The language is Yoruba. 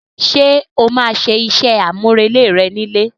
Ṣe o ma máa ṣe iṣẹ amurele rẹ ni ilé?